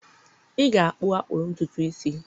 ị ga-akpụ akpụ ntutu isi.